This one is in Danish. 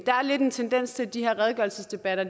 der er lidt en tendens til at de her redegørelsesdebatter